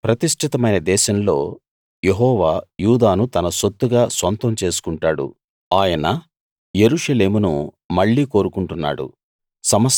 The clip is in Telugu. ప్రతిష్ఠితమైన దేశంలో యెహోవా యూదాను తన సొత్తుగా సొంతం చేసుకుంటాడు ఆయన యెరూషలేమును మళ్ళీ కోరుకుంటున్నాడు